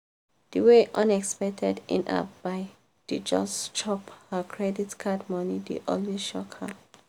di way unexpected in-app buy dey just chop her credit card money dey always shock her.